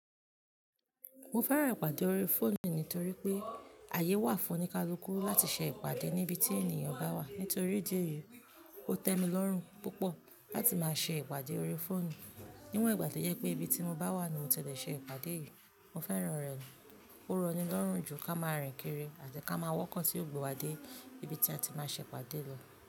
Mo fẹ́ràn ìpàdé ori fóònù nítorí pé àyè wà fún oníkálukú láti ṣe ìpàdé níbi tí ènìyàn bá wà. Nítorí ìdí èyí, ó tẹ́ mi lọ́rùn púpọ̀ láti máa ṣe ìpàdé ori fóònù. Níwọ̀n ìgbà tí ó jẹ pé ibi tí mo bá wà ni mo tẹ́lẹ̀ ṣe ìpàdé yìí, mo fẹ́ràn rẹ̀. Ó rọni lọ́rùn ju kí a máa rìn kiri àti kí a máa wọ́kọ̀ tí ò gbé wádé íbi tí a ti máa ṣe ìpàdé lọ.